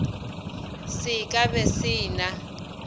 se ka be se na